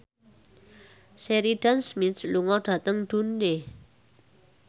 Sheridan Smith lunga dhateng Dundee